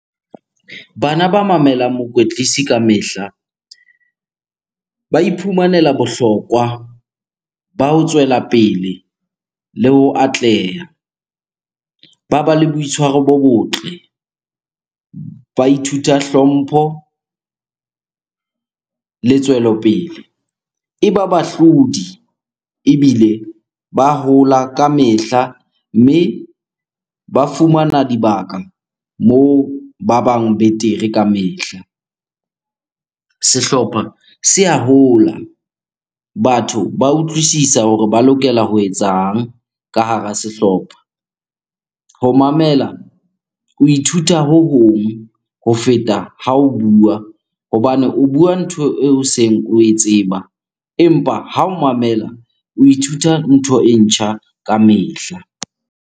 Bana ba mamelang mokwetlisi kamehla, ba iphumanela bohlokwa ba ho tswela pele le ho atleha. Ba ba le boitshwaro bo botle, ba ithuta hlompho le tswelopele. E ba bahlodi ebile ba hola kamehla mme ba fumana dibaka moo ba bang betere kamehla. Sehlopha se a hola, batho ba utlwisisa hore ba lokela ho etsang ka hara sehlopha. Ho mamela, ho ithuta ho hong ho feta ha o bua hobane o bua ntho eo seng oe tseba, empa ha o mamela o ithuta ntho e ntjha kamehla.